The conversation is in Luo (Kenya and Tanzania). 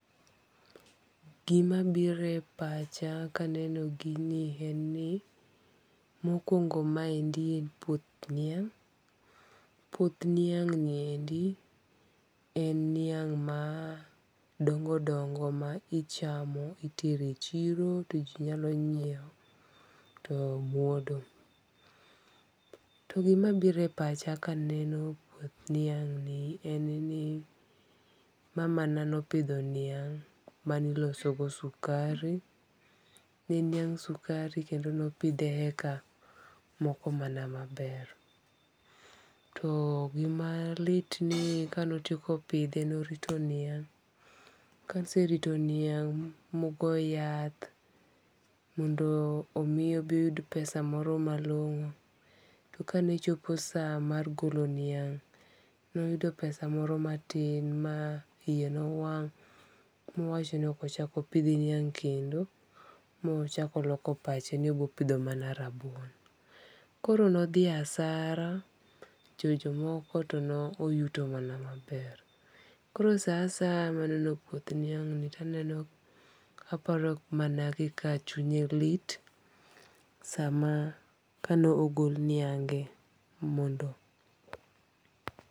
Gi ma biro e apcha ka eno gi ni en ni, mokuongo ma endi en puoth niang', puoth niang ni eki en niang' ma dongo dongo ma ichamo itero e chiro tio ji nyalo nyieewo to myodo. to gi ma biro e pacha ka eneno en ni mama na ne opidho niang ma ne iloso go sukari ne en niang sukari kendo ne opidhe e eka mokomana ma ber to gi malit ni ka ne oteko pidhe ne orito niang', ka oserito niang' mogo yath mondo omi obi os pesa moro ma luongo. To ka ne chopo sa mar goglo dhiang ne oyudo pesa moro ma tin ma iye ne owang' ma owacho nin ok ochak opidh niang' kendo ma ochako oloko pache ni obiro mana pidho rabuon. koro ne odhi hasara to jo moko to ne oyuto mana ma ber. Koro sa asaya ma neno puoth diang' ni to aneno aparo ku ma nedhi ka chunye lit sa ma ka ne ogol niange mondo.